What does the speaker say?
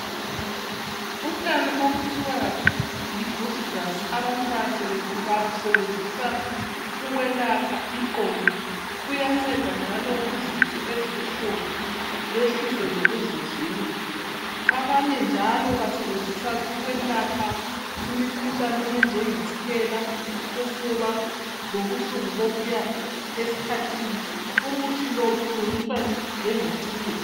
Utshani okuthiwa yiGroot Grass abantu babusebenzisa ukwelapha iqolo. Buyanceda njalo kuzinso ezibuhlungu behlise lokuvuvika. Abanye njalo babusibezisa ukwelapha imikhuhlane enjangetshukela ufuba lobuhlungu bokuya esikhathini. Umuthi lo ulungiswa njengetiye.